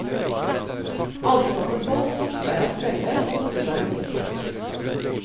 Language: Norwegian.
Ansatte folk tok seg av stellet, og bodde der om vinteren.